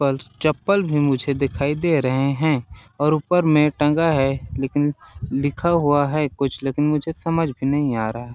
चप्पल भी मुझे दिखाई दे रहे हैं और ऊपर में टंगा है लेकिन लिखा हुआ है कुछ लेकिन मुझे समझ भी नहीं आ रहा है।